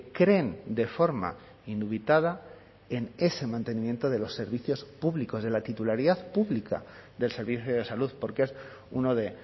creen de forma indubitada en ese mantenimiento de los servicios públicos de la titularidad pública del servicio de salud porque es uno de